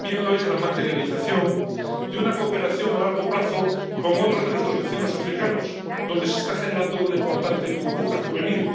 También lo es la materialización de una cooperación a largo plazo con otros de nuestros vecinos africanos, donde se está generando una importante burbuja juvenil.